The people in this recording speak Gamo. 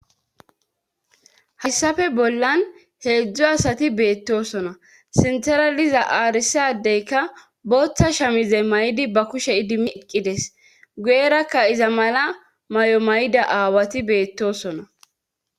hassafe bollan heedzdzo asati beettosona sintara liza aarisadeyka boththa shamize may'di ba kushe idimieqqides guerakka iza mala mayo may'ida aawati beettosona